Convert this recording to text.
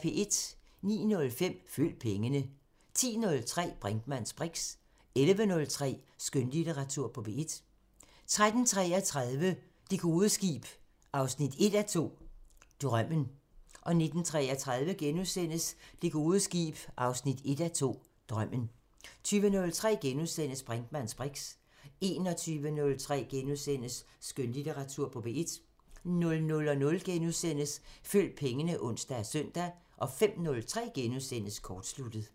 09:05: Følg pengene 10:03: Brinkmanns briks 11:03: Skønlitteratur på P1 13:33: Det gode skib 1:2 – Drømmen 19:33: Det gode skib 1:2 – Drømmen * 20:03: Brinkmanns briks * 21:03: Skønlitteratur på P1 * 00:05: Følg pengene *(ons og søn) 05:03: Kortsluttet *